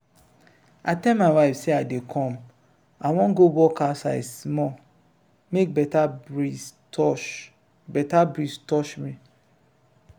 i tell my wife say i dey come. i wan go walk outside small make beta breeze touch beta breeze touch me.